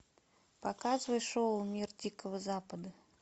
показывай шоу мир дикого запада